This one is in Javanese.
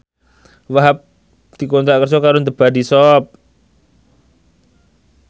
Wahhab dikontrak kerja karo The Body Shop